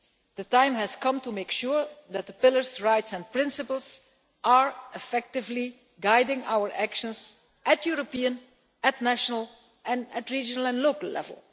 The time has come to make sure that the Pillar's rights and principles are effectively guiding our actions at European, national, regional and local level.